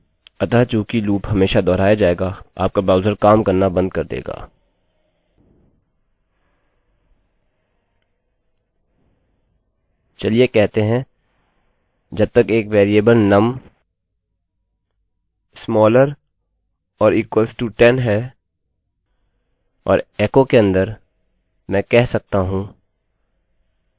चलिए कहते हैं जब तक एक variable num is smaller or equal to 10 num 10 से छोटा या बराबर है और echo के अन्दर मैं कह सकता हूँ num ++